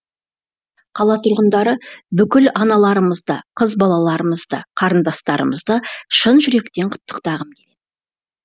қала тұрғындары бүкіл аналарымызды қыз балаларымызды қарындастарымызды шын жүректен құттықтағым келеді